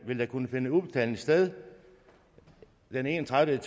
vil der kunne finde udbetaling sted den enogtredivete